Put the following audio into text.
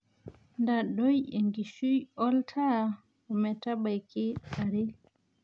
ntadoi enkishui oltaa ometabaiki are